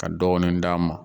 Ka dɔɔnin d'a ma